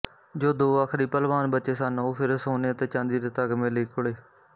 ਜੋ ਦੋ ਆਖਰੀ ਭਲਵਾਨ ਬਚੇ ਸਨ ਉਹ ਫਿਰ ਸੋਨੇ ਅਤੇ ਚਾਂਦੀ ਦੇ ਤਗਮੇ ਲਈ ਘੁਲੇ